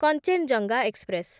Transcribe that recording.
Kanchenjunga express